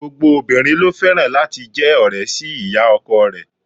Gbogbo obìnrin ló fẹ́ràn láti jẹ́ ọ̀rẹ́ sí ìyá ọkọ rẹ̀.